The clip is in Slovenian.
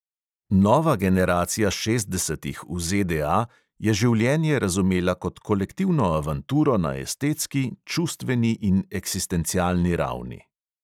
Nova generacija šestdesetih v ZDA je življenje razumela kot kolektivno avanturo na estetski, čustveni in eksistencialni ravni.